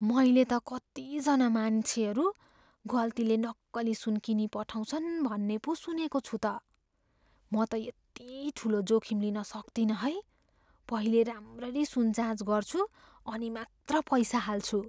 मैले त कतिजना मान्छेहरू गल्तीले नक्कली सुन किनिपठाउँछन् भन्ने पो सुनेको छु त। म त यति ठुलो जोखिम लिन सक्तिनँ है। पहिले राम्ररी सुन जाँच गर्छु, अनि मात्र पैसा हाल्छु।